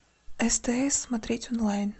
стс смотреть онлайн